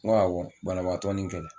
N ko awɔ banabaatɔ ni kɛlɛ